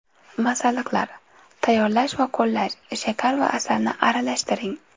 Masalliqlar: Tayyorlash va qo‘llash: Shakar va asalni aralashtiring.